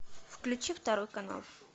включи второй канал